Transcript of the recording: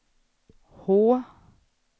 H